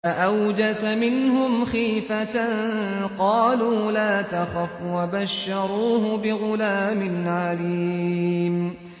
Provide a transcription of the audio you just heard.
فَأَوْجَسَ مِنْهُمْ خِيفَةً ۖ قَالُوا لَا تَخَفْ ۖ وَبَشَّرُوهُ بِغُلَامٍ عَلِيمٍ